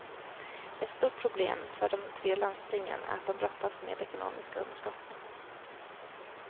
Ett stort problem för de tre landstingen är att de brottas med ekonomiska underskott.